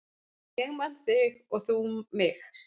Ég man þig og mig.